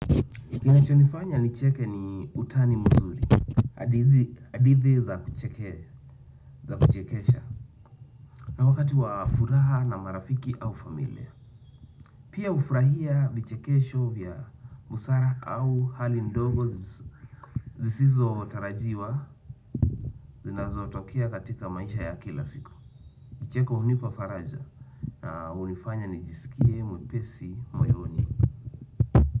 Kinachonifanya nicheke ni utani mzuri, adithi za kucheke, za kuchekesha, na wakati wa furaha na marafiki au familia. Pia ufrahia vichekesho vya musara au hali ndogo zisizo tarajiwa zinazotokea katika maisha ya kila siku. Vicheko unipa faraja na unifanya nijisikie mwepesi moyoni.